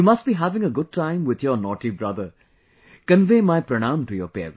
You must be having a good time with your naughty brother, convey my pranam to your parents